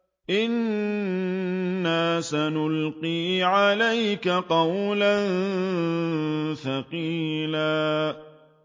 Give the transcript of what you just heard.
إِنَّا سَنُلْقِي عَلَيْكَ قَوْلًا ثَقِيلًا